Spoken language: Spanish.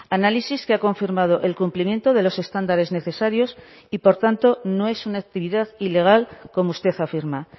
análisis que ha confirmado el cumplimiento de los estándares necesarios y por tanto no es una actividad ilegal como usted afirma